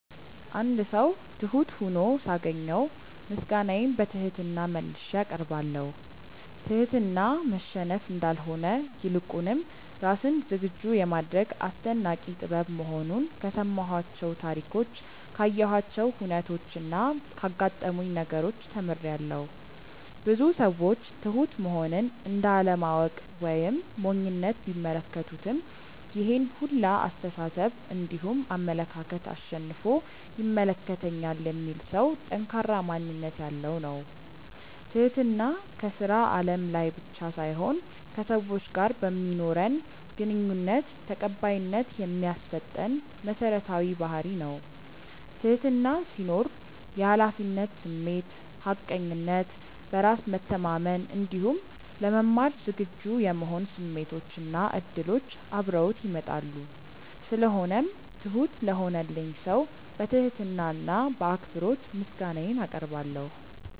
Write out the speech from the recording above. አንድ ሰው ትሁት ሁኖ ሳገኘው ምስጋናዬን በትህትና መልሼ አቀርባለሁ። ትህትና መሸነፍ እንዳልሆነ ይልቁንም ራስን ዝግጁ የማድረግ አስደናቂ ጥበብ መሆኑን ከሰማኋቸው ታሪኮች ካየኋቸው ሁነቾች እና ካጋጠሙኝ ነገሮች ተምሬያለው። ብዙ ሰዎች ትሁት መሆንን እንደ አለማወቅ ወይም ሞኝነት ቢመለከቱትም ይሄን ሁላ አስተሳሰብ እንዲሁም አመለካከት አሸንፎ ይመለከተኛል የሚል ሰው ጠንካራ ማንነት ያለው ነው። ትህትና ከስራ አለም ላይ ብቻ ሳይሆን ከሰዎች ጋር በማኖረን ግንኙነት ተቀባይነት የሚያሰጠን መሰረታዊ ባህርይ ነው። ትህትና ሲኖር የሀላፊነት ስሜት፣ ሀቀኝነት፣ በራስ መተማመን እንዲሁም ለመማር ዝግጁ የመሆን ስሜቶች እና እድሎች አብረውት ይመጣሉ። ስለሆነው ትሁት ለሆነልኝ ሰው በትህትና እና በአክብሮት ምስጋናዬን አቀርባለሁ።